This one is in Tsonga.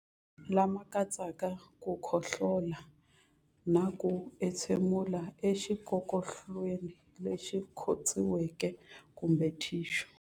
Lama katsaka ku khohlola na ku entshemulela exikokolweni lexi khotsiweke kumbe thixu.